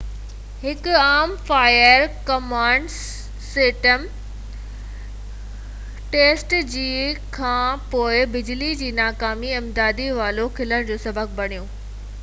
هڪ عام fire command system test جي کان پوءِ بجلي جي ناڪامي امدادي والوو کلڻ جو سسب بڻيو ۽ خام تيل فورٽ گريلي پمپ اسٽيشن 9 جي ويجهو ڇلڪجي ويو